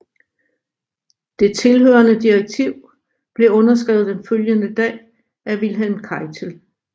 Det tilhørende direktiv blev underskrevet den følgende dag af Wilhelm Keitel